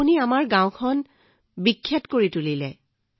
আপুনি আমাৰ গাওঁখন পৃথিৱী বিখ্যাত কৰি তুলিছে